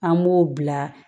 An b'o bila